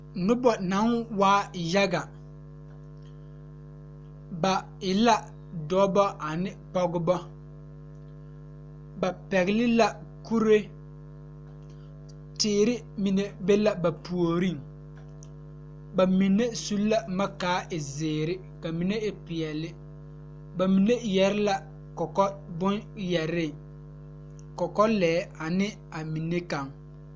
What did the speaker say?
Noba naŋ waa yaga ba e la dɔba ane pɔgeba ba pɛgle la kuree teere mine be la ba puoriŋ bamine su la boma kaa e zēēre ka mine e peɛle ba mine eɛɛ yɛre la kɔkɔ boŋyɛre kɔkɔ yɛre ne a mine kaŋ.